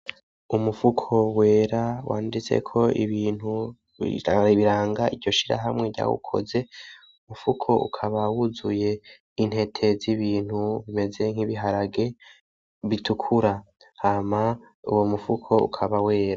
Umufuko wera wanditseko ibintu biranga iryo shirahamwe ryawukoze, umufuko ukaba wuzuye intete z'ibintu bimeze nk'ibiharage bitukura, hama uwo mufuko ukaba wera.